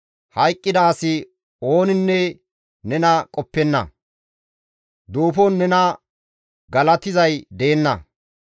Hayqqida asi ooninne nena qoppenna; duufon nena galatizay deenna.